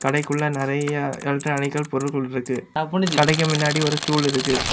கடைக்குள்ள நரையா எலக்ட்ரானிக்கள் பொருள்கள் இருக்கு கடைக்கு மின்னாடி ஒரு ஸ்டூல் இருக்கு.